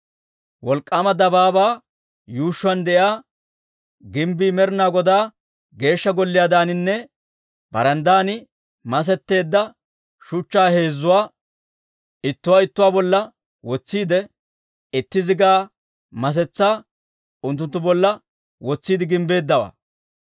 Wolk'k'aama dabaabaa yuushshuwaan de'iyaa gimbbii Med'inaa Godaa Geeshsha Golliyaadaaninne baranddaadan masetteedda shuchchaa heezzatuwaa, ittuwaa ittuwaa bolla wotsiide, itti zigaa masetsaa unttunttu bolla wotsiide gimbbeeddawaa.